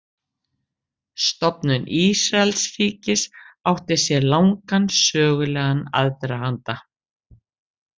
Stofnun Ísraelsríkis átti sér langan sögulegan aðdraganda.